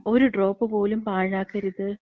ഒരു ഡ്രോപ്പ് പോലും പാഴാക്കരുത്,